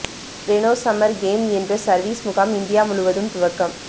Reno summer camp என்ற service முகாம் India முழுவதும் துவக்கம்